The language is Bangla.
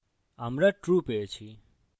আমরা true পেয়েছি